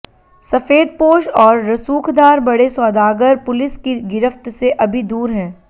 सफेदपोश और रसूखदार बड़े सौदागर पुलिस की गिरफ्त से अभी दूर हैं